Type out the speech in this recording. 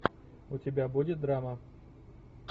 у тебя будет драма